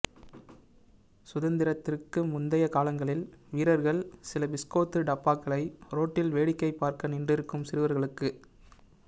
சுதந்திரத்திற்கு முந்தைய காலங்களில் வீரர்கள் சில பிஸ்கோத்து டப்பாக்களை ரோட்டில் வேடிக்கை பார்க்க நின்றிருக்கும் சிறுவர்களுக்கு